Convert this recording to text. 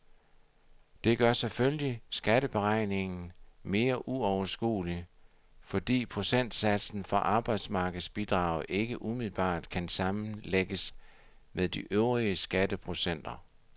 Det gør selvfølgelig skatteberegningen mere uoverskuelig, fordi procentsatsen for arbejdsmarkedsbidraget ikke umiddelbart kan sammenlægges med de øvrige skatteprocenter.